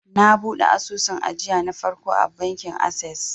na buɗe asusun ajiya na farko a bankin ases